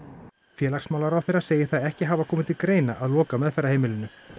félagsmálaráðherra segir það ekki hafa komið til greina að loka meðferðarheimilinu